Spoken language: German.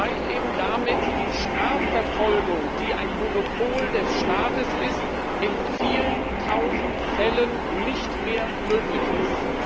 weil eben damit die Strafverfolgung, die ein Monopol des Staates ist, in vielen tausend Fällen nicht mehr möglich ist.